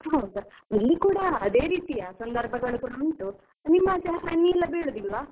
ಹೌದಾ ಇಲ್ಲಿ ಕೂಡ ಅದೇ ರೀತಿ ಆದ ಸಂದರ್ಭಗಳು ಉಂಟು, ನಿಮ್ಮ ಆಚೆ ಹನಿ ಎಲ್ಲ ಬೀಳುದಿಲ್ವಾ?